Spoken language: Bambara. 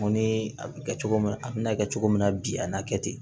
Ko ni a bɛ kɛ cogo min na a bɛ n'a kɛ cogo min na bi a na kɛ ten